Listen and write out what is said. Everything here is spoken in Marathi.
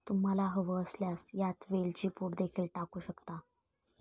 तुम्हाला हवं असल्यास यात वेलची पूड देखील टाकू शकता.